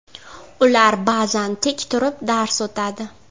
Ular ba’zan tik turib dars o‘tadi.